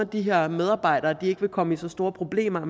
de her medarbejdere ikke vil komme i så store problemer og